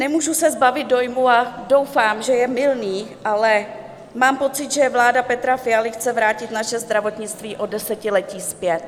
Nemůžu se zbavit dojmu, a doufám, že je mylný, ale mám pocit, že vláda Petra Fialy chce vrátit naše zdravotnictví o desetiletí zpět.